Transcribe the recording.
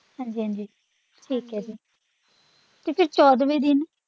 ਹਾਂਜੀ ਹਾਂਜੀ ਠੀਕ ਹੈ ਜੀ ਤੇ ਫੇਰ ਚੌਦਵੇਂ ਦਿਨ।